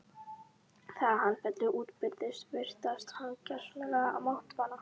Þegar hann féll útbyrðis virtist hann gersamlega máttvana.